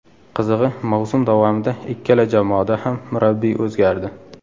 Qizig‘i, mavsum davomida ikkala jamoada ham murabbiy o‘zgardi.